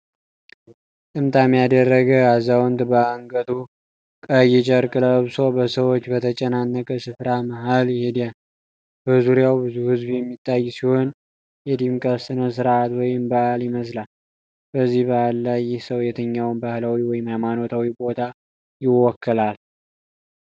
ጥምጣም ያደረገ አዛውንት፣ በአንገቱ ቀይ ጨርቅ ለብሶ በሰዎች በተጨናነቀ ስፍራ መሃል ይሄዳል። በዙሪያው ብዙ ህዝብ የሚታይ ሲሆን የድምቀት ስነስርዓት ወይም በዓል ይመስላል። በዚህ በዓል ላይ ይህ ሰው የትኛውን ባህላዊ ወይም ሃይማኖታዊ ቦታ ይወክላል?